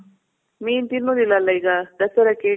ಮೀನ್ ತಿನ್ನೋದಿಲ್ಲ ಅಲ್ಲ ಈಗ ದಸರಾಕ್ಕೆ.